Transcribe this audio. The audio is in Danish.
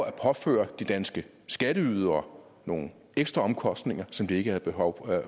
at påføre de danske skatteydere nogle ekstra omkostninger som de ikke havde behov